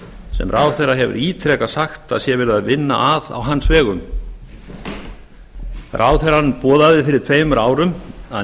sem ráðherra hefur ítrekað boðað að sé í vændum ráðherra boðaði fyrir tveimur árum að